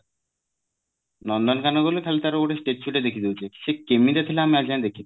ନନ୍ଦନକାନନ ଗଲେ ଖାଲି ତାର ଗୋଟେ statue ଟେ ଦେଖି ଦଉଛୁ ସେ କେମିତିକା ଥିଲା ଆମେ ଆଜି ଯାଏ ଦେଖିନୁ